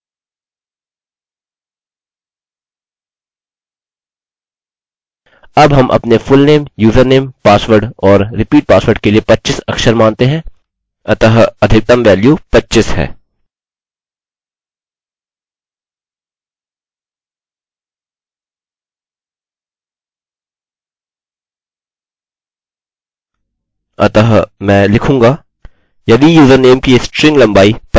अतः मैं लिखूँगा यदि यूज़रनेम की स्ट्रिंग लम्बाई 25 से लम्बी या बड़ी है या फुलनेम की स्ट्रिंग लम्बाई 25 से बड़ी है